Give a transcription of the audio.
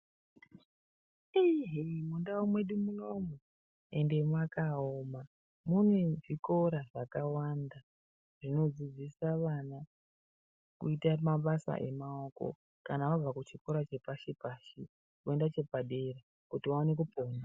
Iii hee mundau mwedu munoumu ende mwakaoma mune zvikora zvakawanda zvinodzidzisa vana kuita mabasa emaoko kana vabva kuchikora chepashipashi voenda chepadera kuti vaone kupona.